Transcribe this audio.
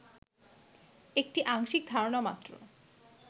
একটি আংশিক ধারণা মাত্র